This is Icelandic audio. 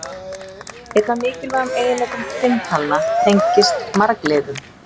Einn af mikilvægum eiginleikum tvinntalna tengist margliðum.